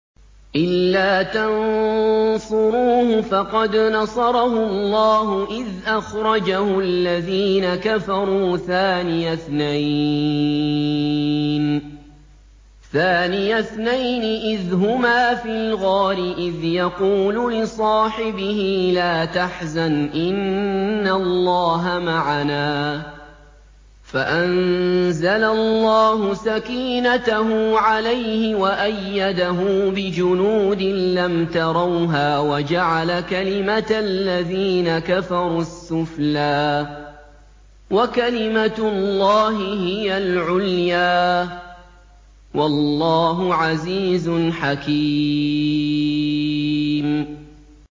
إِلَّا تَنصُرُوهُ فَقَدْ نَصَرَهُ اللَّهُ إِذْ أَخْرَجَهُ الَّذِينَ كَفَرُوا ثَانِيَ اثْنَيْنِ إِذْ هُمَا فِي الْغَارِ إِذْ يَقُولُ لِصَاحِبِهِ لَا تَحْزَنْ إِنَّ اللَّهَ مَعَنَا ۖ فَأَنزَلَ اللَّهُ سَكِينَتَهُ عَلَيْهِ وَأَيَّدَهُ بِجُنُودٍ لَّمْ تَرَوْهَا وَجَعَلَ كَلِمَةَ الَّذِينَ كَفَرُوا السُّفْلَىٰ ۗ وَكَلِمَةُ اللَّهِ هِيَ الْعُلْيَا ۗ وَاللَّهُ عَزِيزٌ حَكِيمٌ